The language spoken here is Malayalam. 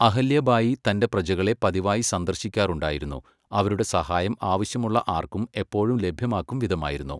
അഹല്യ ബായി തന്റെ പ്രജകളെ പതിവായി സന്ദർശിക്കാറുണ്ടായിരുന്നു, അവരുടെ സഹായം ആവശ്യമുള്ള ആർക്കും എപ്പോഴും ലഭ്യമാക്കും വിധമായിരുന്നു.